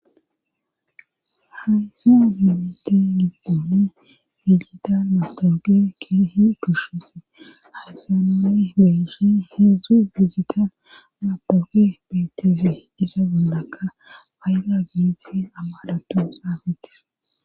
Haysi mimite minpoone bigitan matooge kihi kushuse hasanane beeshe heedzdzu bigitan mapooge beetese iza gondaka paayga giisi ammadhatu saafetis.